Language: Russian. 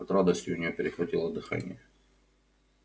от радости у неё перехватило дыхание